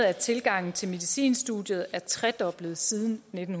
at tilgangen til medicinstudiet er tredoblet siden nitten